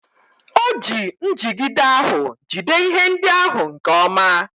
O ji njigide ahụ jide ihe ndị ahụ nke ọma.